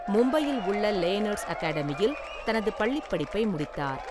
மும்பையில் உள்ள லேனர்ஸ் அகாடமியில் தனது பள்ளிப்படிப்பை முடித்தார்.